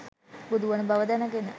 බුදුවන බව දැනගෙන